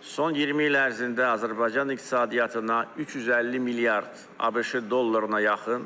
Son 20 il ərzində Azərbaycan iqtisadiyyatına 350 milyard ABŞ dollarına yaxın